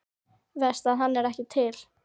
Verst að hann er ekki til.